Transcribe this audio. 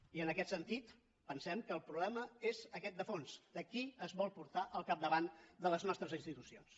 i en aquest sentit pensem que el problema és aquest de fons de qui és vol portar al capdavant de les nostres institucions